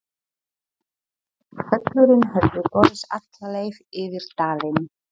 Hvellurinn hefði borist alla leið yfir dalinn.